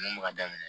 Mun bɛ ka daminɛ